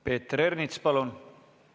Peeter Ernits, palun!